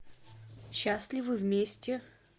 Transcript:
счастливы вместе